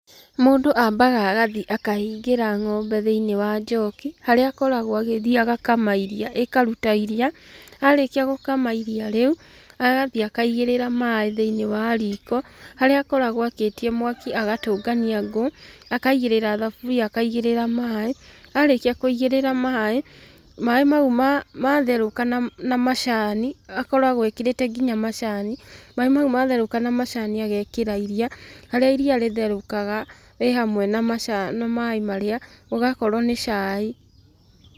Mũndũ ambaga agathiĩ akahingĩra ng'ombe thĩinĩ wa njoki, harĩa akoragwo agĩthiĩ agakama iria, arĩkia gũkama iria rĩu, agathiĩ akaigĩrira maĩ thĩinĩ wa riko, haria akoragũo akĩtie mwaki agatũngania ngũũ, akaigĩrĩra thaburia akaigĩrĩra maaĩ, arĩkia kũigĩrĩra maĩ, maĩ mau matherũka na macani, akoragwo ekĩrĩte nginya macani. Maaĩ mau matherũka na macani agekĩra iria, harĩa iria rĩtherũkaga rĩhamwe na macani na maaĩ marĩa, ũgakorwo nĩ cai.